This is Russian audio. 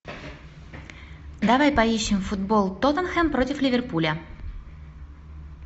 давай поищем футбол тоттенхэм против ливерпуля